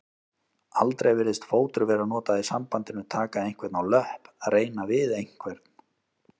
Aldrei virðist fótur vera notað í sambandinu taka einhvern á löpp reyna við einhvern.